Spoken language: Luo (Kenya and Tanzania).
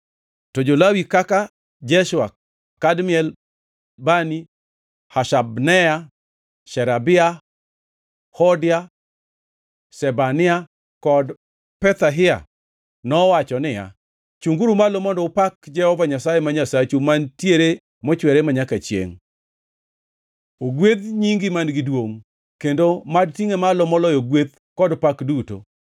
To jo-Lawi kaka, Jeshua, Kadmiel, Bani, Hashabneya, Sherebia, Hodia, Shebania kod Pethahia nowacho niya, “Chungʼuru malo mondo upak Jehova Nyasaye ma Nyasachu mantiere mochwere manyaka chiengʼ.” “Ogwedh nyingi man-gi duongʼ, kendo mad tingʼe malo moloyo gweth kod pak duto.